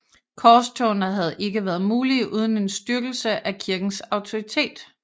Korstogene havde ikke være mulige uden en styrkelse af kirkens autoritet